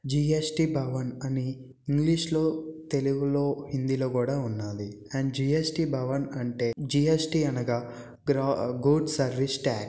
GST భవన అని English లో తెలుగులో హిందీలో కూడా ఉన్నాది. అండ్ జీ_ఏస్_టి భవనం అంటే జీ_ఏస్_టి అనగా గ-గూడ్స్ సర్వీస్ టాక్స్ .